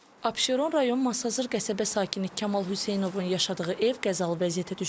Abşeron rayon Masazır qəsəbə sakini Kamal Hüseynovun yaşadığı ev qəzalı vəziyyətə düşüb.